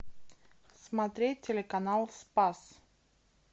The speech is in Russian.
смотреть телеканал спас